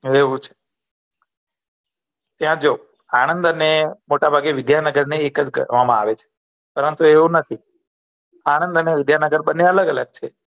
એવુ છે ત્યા જો આનંદ અને મોટભાગે વિધ્યાનગર એક જ ગણવામા આવે છે પરન્તુ એવુ નથી આનંદ અને વિધ્યાનગર બન્ને અલગ અલગ છે